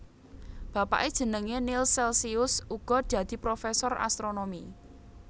Bapake jenenge Nills Celcius uga dadi professor astronomi